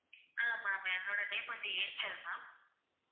ஆஹ் ma'am என்னோட name வந்து Angel ma'am